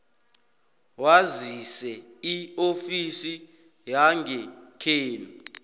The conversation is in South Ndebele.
wazise iofisi yangekhenu